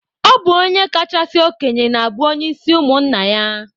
Ọ bụ onye kachasị okenye na-abụ onye isi ụmụnna ya.